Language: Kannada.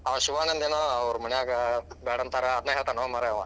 ಅವಾ ಶಿವಾನಂದ ಏನೋ ಅವ್ರ ಮಾನ್ಯಾಗ ಬ್ಯಾಡ ಅಂತಾರ ಅದ್ನೇ ಹೇಳತಾನೋ ಮಾರಾಯಾ ಅವಾ.